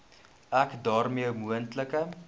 ek daarmee moontlike